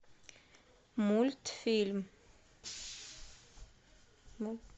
мультфильм